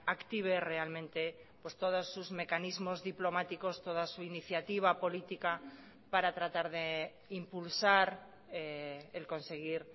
active realmente todos sus mecanismos diplomáticos toda su iniciativa política para tratar de impulsar el conseguir